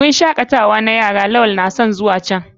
Wurin shakatawa ne wurin shakatawa na yara da lawal kamar zuwa can.